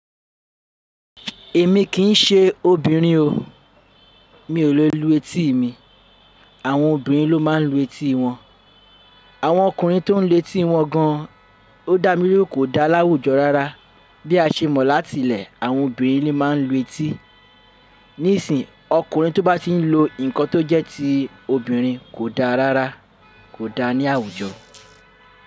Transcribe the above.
Èmi kì í ṣe obìnrin o, mi ò lè lu etí mi. Àwọn obìnrin ló máa ń lu etí wọn. Àwọn ọkùnrin tó ń lu etí wọn gan-an, ó dá mí loju kò dá láwùjọ rárá. Bí a ṣe mọ̀ láti ilé, àwọn obìnrin ni máa ń lu etí. Nísìń, ọkùnrin tó bá ti ń lo nǹkan tó jẹ́ ti obìnrin kò dá rárá, kò dá ní àwùjọ.